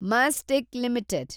Mastek limited